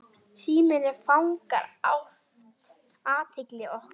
Síminn fangar oft athygli okkar.